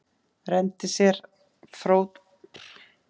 Renndi sér fótskriðu fyrir horn á glerkenndu og sleipu steingólfinu.